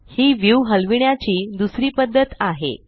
ही view हलविण्याची दुसरी पद्धत आहे